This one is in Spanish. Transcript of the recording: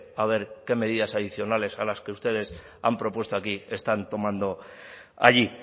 a ver qué medidas adicionales a las que ustedes han propuesto aquí están tomando allí y